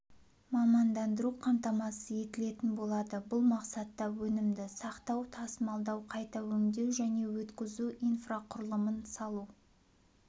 мамандандыру қамтамасыз етілетін болады бұл мақсатта өнімді сақтау тасымалдау қайта өңдеу және өткізу инфрақұрылымын салу